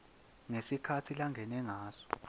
ngesikhatsi langene ngaso